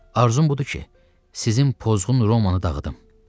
Arzum budur ki, sizin pozğun Romanı dağıdım.